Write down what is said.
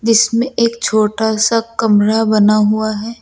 जीसमें एक छोटा सा कमरा बना हुआ है।